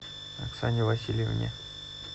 оксане васильевне